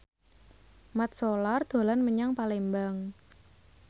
Mat Solar dolan menyang Palembang